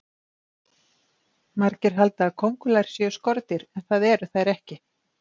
Margir halda að kóngulær séu skordýr en það eru þær ekki.